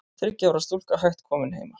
Þriggja ára stúlka hætt komin heima